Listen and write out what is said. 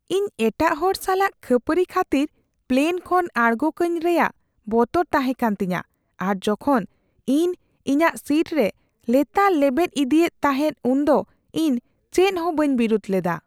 ᱤᱧ ᱮᱴᱟᱜ ᱦᱚᱲ ᱥᱟᱞᱟᱜ ᱠᱷᱟᱹᱯᱟᱹᱨᱤ ᱠᱷᱟᱹᱛᱤᱨ ᱯᱞᱮᱱ ᱠᱷᱚᱱ ᱟᱬᱜᱳ ᱠᱟᱹᱧ ᱨᱮᱭᱟᱜ ᱵᱚᱛᱚᱨ ᱛᱟᱦᱮᱸᱠᱟᱱ ᱛᱤᱧᱟᱹ ᱟᱨ ᱡᱚᱠᱷᱚᱱ ᱩᱱᱤ ᱤᱧᱟᱹᱜ ᱥᱤᱴ ᱨᱮ ᱞᱮᱛᱟᱲᱮ ᱞᱮᱵᱮᱫ ᱤᱫᱤᱭᱮᱫ ᱛᱟᱦᱮᱸᱜ ᱩᱱᱫᱚ ᱤᱧ ᱪᱮᱫᱦᱚᱸ ᱵᱟᱹᱧ ᱵᱤᱨᱩᱫᱷ ᱞᱮᱫᱟ ᱾